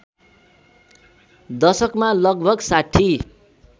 दशकमा लगभग ६०